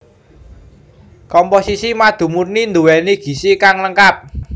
Komposisi madu murni nduwéni gizi kang lengkap